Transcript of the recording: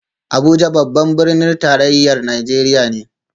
Abuja babban birnin tarayyar Najeriya ne